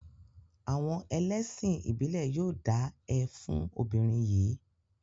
Àwọn ẹlẹ́sìn ìbílẹ̀ yóò dá ẹ fún ọmọbìnrin yìí.